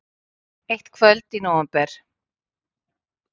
Eitt kvöld í nóvember.